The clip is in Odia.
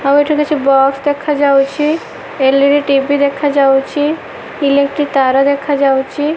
ଆଉ ଏଠୁ କିଛି ବକ୍ସ ଦେଖା ଯାଉଛି ଏଲ_ଇ_ଡ଼ି ଟି_ଭି ଦେଖା ଯାଉଛି ଇଲେକ୍ଟ୍ରି ତାର ଦେଖା ଯାଉଛି।